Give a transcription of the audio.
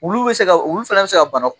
Wulu bɛ se ka Wulu fana bɛ se ka bana